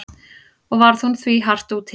Og varð hún því hart úti.